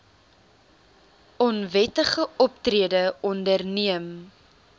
onwettige optrede onderneem